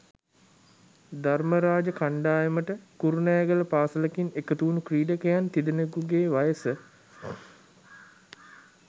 ධර්මරාජ කණ්ඩායමට කුරුණෑගල පාසලකින් එකතු වුණු ක්‍රීඩකයන් තිදෙනකුගේ වයස